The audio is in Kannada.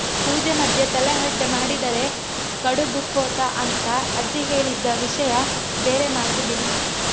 ಪೂಜೆ ಮಧ್ಯೆ ತಲೆಹರಟೆ ಮಾಡಿದರೆ ಕಡುಬು ಖೋತ ಅಂತ ಅಜ್ಜಿ ಹೇಳಿದ್ದ ವಿಷಯ ಬೇರೆ ಮಾತು ಬಿಡಿ